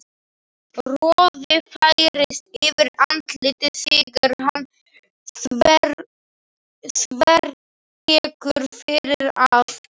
Roði færist yfir andlitið þegar hann þvertekur fyrir það.